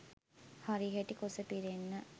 හරිහැටි කුස පිරෙන්න